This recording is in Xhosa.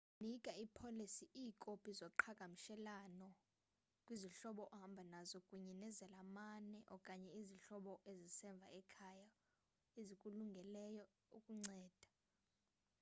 nika ipolisi/iikopi zoqhagamshelwano kwizihlobo ohamba nazo kunye nezalamane okanye izihlobo ezisemva ekhaya ezikulungeleyo ukunceda